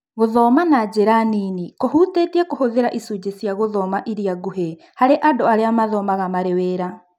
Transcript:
Gũthoma na njĩra nini kũhutĩtie kũhũthĩra icunjĩ cia gũthoma iria nguhĩ harĩ andũ arĩa mathomaga marĩ wĩra